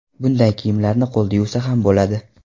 Bunday kiyimlarni qo‘lda yuvsa ham bo‘ladi.